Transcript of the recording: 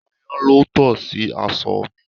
Ayan ló to sí aṣọ mi.